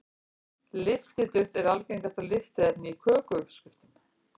Lyftiduft er algengasta lyftiefni í kökuuppskriftum.